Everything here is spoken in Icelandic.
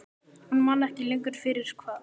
Hún man ekki lengur fyrir hvað.